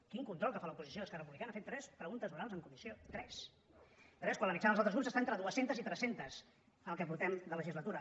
quin control que fa a l’oposició esquerra republicana ha fet tres preguntes orals en comissió tres tres quan la mitjana dels altres grups està entre dues centes i tres centes en el que portem de legislatura